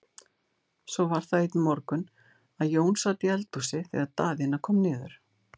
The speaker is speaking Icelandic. Svo var það einn morgun að Jón sat í eldhúsi þegar Daðína kom niður.